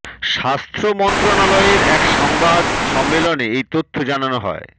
স্বাস্থ্য মন্ত্রণালয়ের এক সংবাদ সম্মেলনে এই তথ্য জানানো হয়